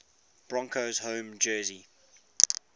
broncos home jersey